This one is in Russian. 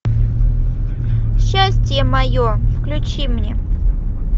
счастье мое включи мне